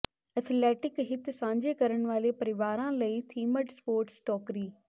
athletic ਹਿੱਤ ਸਾਂਝੇ ਕਰਨ ਵਾਲੇ ਪਰਿਵਾਰਾਂ ਲਈ ਥੀਮਡ ਸਪੋਰਟਸ ਟੋਕਰੀ